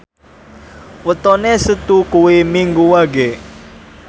wetone Setu kuwi Minggu Wage